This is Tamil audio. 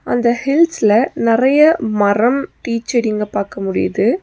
அந்த ஹில்ஸ்ல நெறைய மரம் டீச் செடிங்க பாக்க முடிது.